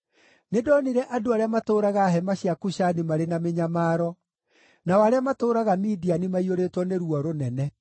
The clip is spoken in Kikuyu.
Nĩndonire andũ arĩa matũũraga hema cia Kushani marĩ na mĩnyamaro, nao arĩa matũũraga Midiani maiyũrĩtwo nĩ ruo rũnene.